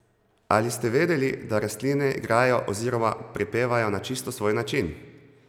Ali ste vedeli, da rastline igrajo oziroma prepevajo na čisto svoj način?